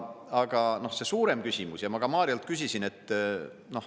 Aga see suurem küsimus ja ma ka Mariolt küsisin.